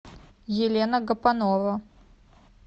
елена гапонова